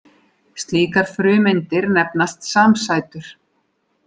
Slíkar frumeindir nefnast samsætur.